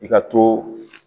I ka to